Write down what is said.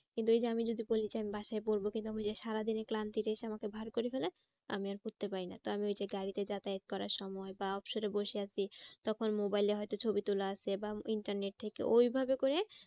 কিন্তু ওই যে আমি যদি বলি যে আমি বাসায় পড়বো কিন্তু ওই যে সারাদিনের ক্লান্তিতে এসে আমাকে ভার করে ফেলে মামী আর পড়তে পারি না। আমি ওই যে গাড়িতে যাতায়াত করার সময় বা অবসরে বসে আছি তখন mobile এ হয়তো ছবি তোলা আছে বা internet থেকে ওইভাবে করে